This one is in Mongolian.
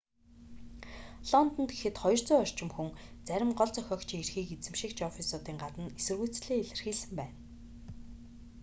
лондонд гэхэд 200 орчим хүн зарим гол зохиогчийн эрхийг эзэмшигч оффисуудын гадна эсэргүүцлээ илэрхийлсэн байна